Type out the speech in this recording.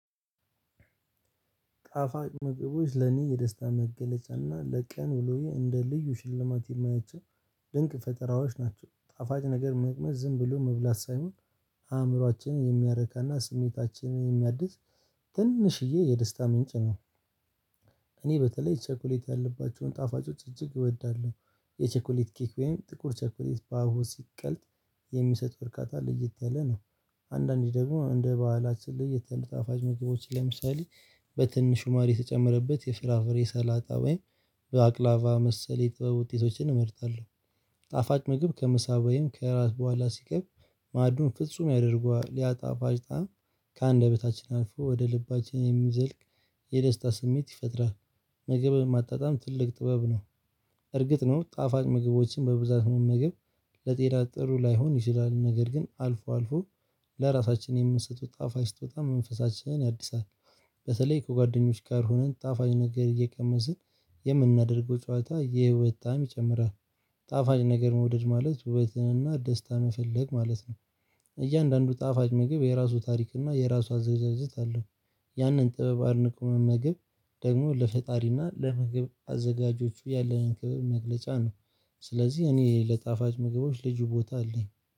ጣፋጭ ምግቦች ለኔ የደስታ መገለጫና ለቀን ውሎዬ እንደ ልዩ ሽልማት የማያቸው ድንቅ ፈጠራዎች ናቸው ጣፋጭ ነገር መቅመስ ዝም ብሎ መብላት ሳይሆን አእምሯችንን የሚያረካና ስሜታችንን የሚያድስ ትንሽየ የደስታ ምንጭ ነው። እኔ በተለይ ቸኮሌት ያለባቸውን ጣፋጮች እጅግ እወዳለሁ የቸኮሌት ኬክ ወይም ጥቁር ቸኮሌት በአብሆት ሲቀልጥ የሚሰጠው እርካታ ለየት ያለ ነው። አንዳንዴ ደግሞ እንደ ባህላችን ለየት ያሉ ጣፋጭ ምግቦች ለምሳሌ በትንሹ ማር የተጨመረበት የፍራፍሬ ሰላጣ ወይም በአቅላቫ መሰለ የጥበብ ውጤቶችን እመርጣለሁ። ጣፋጭ ምግብ ከምሳ ወይም ከራስ በኋላ ሲቀርብ ማዕዱን ፍጹም ያደርገዋል ያ ጣፋጭ ጣዕም ከአንደበታችን አልፎ ወደ ልባችን የሚዘልቅ የደስታ ስሜት ይፈጥራል። ምግብን ማጣጣም ትልቅ ጥበብ ነው። እርግጥ ነው ጣፋጭ ምግቦችን በብዛት መመገብ ለጤና ጥሩ ላይሆን ይችላል ነገር ግን አልፎ አልፎ ለራሳችን የምንሰጡት ጣፋጭ ስጦታ መንፈሳችንን ያድሳል። በተለይ ከጓደኞች ጋር ሆነን ጣፋጭ ነገር እየቀመስን የምናደርገው ጨዋታ የህይወት ጣዕም ይጨምራል። ጣፋጭ ነገር መውደድ ማለት ውበትንና ደስታን መፈለግ ማለት ነው። እያንዳንዱ ጣፋጭ ምግብ የራሱ ታሪክ እና የራሱ አዘገጃጀት አለው። ያንን ጥበብ አድንቆ መመገብ ደግሞ ለፈጣሪ እና ለምግብ አዘጋጆቹ ያለህን ክብር መግለጫ ነው። ስለዚህ እኔ ለጣፋጭ ምግቦች ልጁ ቦታ አለኝ